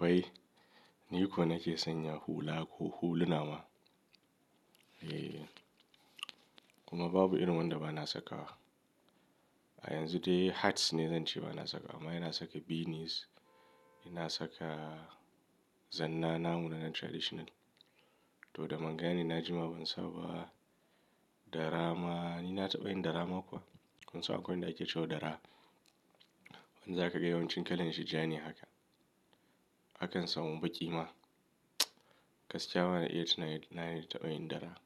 Wai, ni ko nake sanya hula ko hulunama? Eh, kuma babu irin wanda bana sakawa. A yanzu dai hats ne zan ce bana saka, amma ina saka beanies, ina saka zanna namu na nan traditional. To da manga ne na jima ban saba dara ma, ni na taɓa yin dara ma kuwa. Kun san akwai wanda ake ce wa dara, wanda za ka ga yawancin kalan shi ja ne haka. Akan samu baƙi ma. Gaskiya bana, iya tuna in na taɓa yin dara.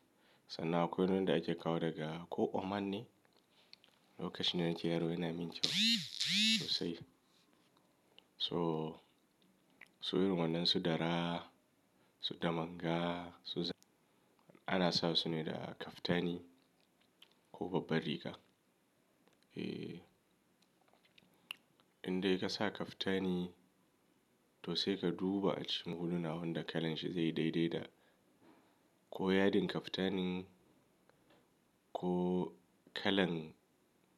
Sannan akwai wanda ake kawo daga ko Oman ne, lokacin da na ke yaro yana min kyau sosai. So su irin wadannan su dara, su damanga, su za-- ana sa su ne da kaftani ko babbar riga. Eh, indai kasa kaftani toh sai ka duba a cikin huluna wanda kalan shi zai dai-dai da. Ko yadin kaftanin ko kalan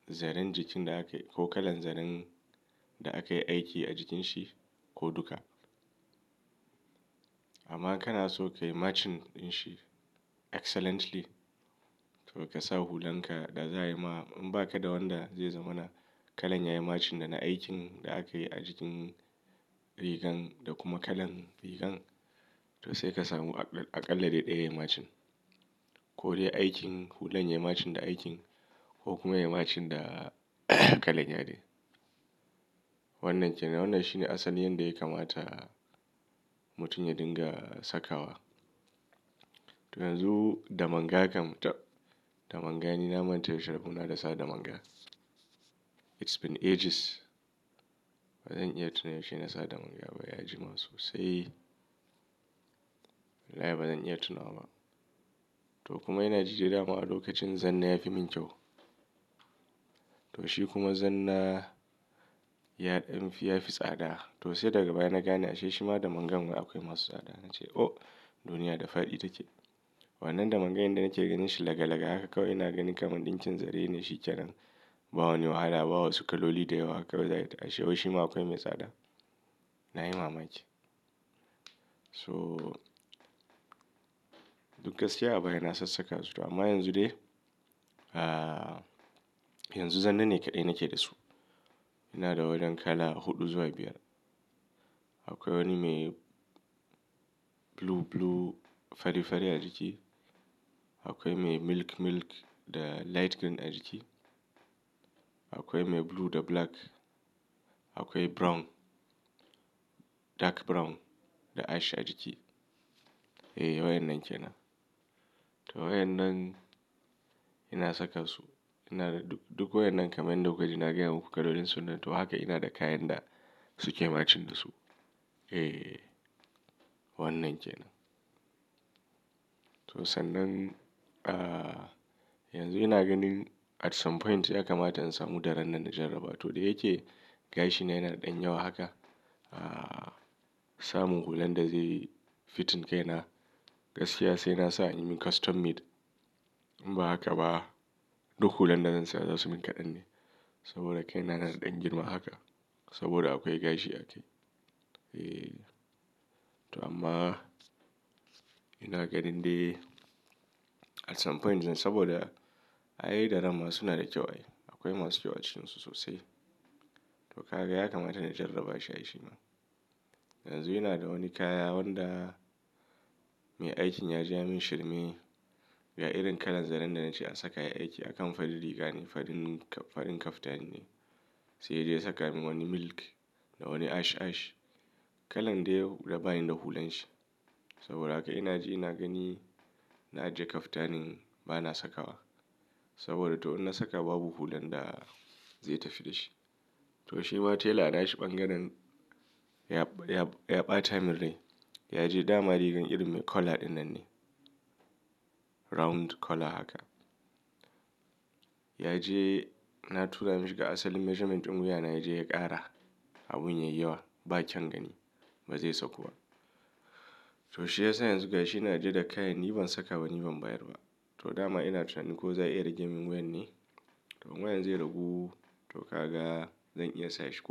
zaren jikin da akayi, ko kalan zaren da akayi aiki a jikin shi ko duka. Amma in kanaso kayi matching dinshi excellently, toh kasa hulan ka da za' ayi ma in baka da wanda zai zamana kalan yayi matching dana aikin da akayi ajikin rigan da kuma kalan rigan, toh sai ka samu dai a kalla daya yayi matching. Ko dai aikin hulan yayi matching da aikin ko kuma yayi matching da kalan yadi. Wannan kenan. Wannan shi ne asalin yanda ya kamata mutum ya dunga sakawa. Toh yanzu damanga kam tab damanga ni na manta yaushe rabona da sa damanga. It's been ages. Ba zan iya tuno yaushe na sa damanga ba, ya jima sosai. Wallahi ba zan iya tunawa ba. To kuma ina jin dadama a lokacin zanna yafi min kyau. To shi kuma zanna yadin fi yafi tsada. To sai daga baya na gane ashe shima damangan kuwa akwai masu tsada. Na ce "Oh! Duniya da faɗi take." Wannan damangan da nake ganin shi laga laga haka kawai ina gani kamar ɗin kin zare ne shi kenan. Ba wani wahala, ba wasu kaloli da yawa haka kawai za ka tashi. Wai shima akwai mai tsada. Na yi mamaki. Toh duk gaskiya a baya na sassaka su, amma yanzu dai, ahhh, yanzu zannane kaɗai nake da su. Ina da waɗannan kala huɗu zuwa biyar. Akwai wani mai blue blue fari fari a jiki. Akwai mai milk milk da light green a jiki. Akwai mai blue da black. Akwai brown, dark brown da ash a jiki. Eh, wayan nan kenan. To wayan nan ina saka su. Ina da duk, duk wayan nan kamar yadda kuka ji ina gaya muku kalolin su nan. To haka ina da kayan da suke matching da su. Eeee, wannan kenan. To sannan, ahhh, yanzu ina ganin at some point ya kamata in samu daran nan na jarraba. To dai yake gashi na yana da ɗanyawa haka. Ahhh, samun hulan da zai fitting kai na gaskiya sai nasa in yi custom made. In ba haka ba duk hulan da zan saya za su min kaɗan ne. Saboda kaina na da dan girma haka saboda akwai gashi akai. Eh, to amma ina ganin dai at some point zan saboda ai daran ma suna da kyau ai. Akwai masu kyau acikin su sosai. To ka ga ya kamata na jarraba shi, ai shima. Yanzu ina da wani kaya wanda mai aikin yaje ya min shirme. Yayi irin kalan zaren da nace a saka yayi aikin akan farin riga ne, farin kaftani ne. Sai yaje ya saka min wani milk da wani ash ash. Kalan dai da bani da hulan shi. Saboda haka ina ji ina gani na ajiye kaftanin bana sakawa. Saboda to in na saka babu hulan da zai tafi da shi. To sai shi ma tailor ana shi bangaren ya, ya, ya ɓata min rai. Ya je dama rigan irin me collar ɗinnan ne. Round collar haka. Ya je na tura mashi ga asalin measurement ɗin wuya na ya je ya ƙara abin ya yiwa. Ba kyan gani, ba zai saku ba. To shi yasa yanzu gashi ina ajiye da kayan ni ban saka ba, ni ban bayar ba. To dama ina tunani ko za a iya rage min wuyan ne? To in wuyan zai ragu, to ka ga zan iya sa shi ko.